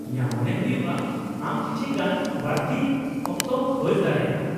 -ᱤᱧᱟᱹᱜ ᱢᱚᱱᱮ ᱦᱩᱭᱩᱜᱼᱟ ᱟᱢ ᱠᱤᱪᱷᱤ ᱜᱟᱱ ᱵᱟᱹᱲᱛᱤ ᱚᱠᱛᱚᱢ ᱠᱷᱚᱡᱽ ᱫᱟᱲᱮᱭᱟᱜᱼᱟ ᱾